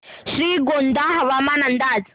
श्रीगोंदा हवामान अंदाज